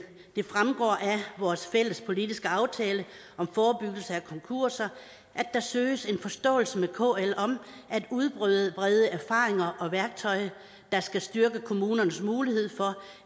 vores fælles politiske aftale om forebyggelse af konkurser at der søges en forståelse med kl om at udbrede erfaringer og værktøj der skal styrke kommunernes mulighed for